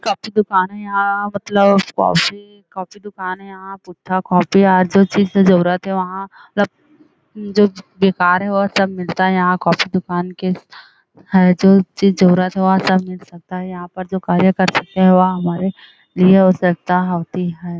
Copy दुकान है यहाँ मतलब कॉफी कॉफी दुकान है यहाँ पुस्तक कापी और जो चीज की जरूरत है वहाँ मतलब जो चीज बेकार है वो सब मिलता है यहाँ कॉफ़ी दुकान के है जो चीज जरूरत है वह यहाँ पर जो कार्य कर सकते है वहाँ हमारे लिए आवश्कता होती है।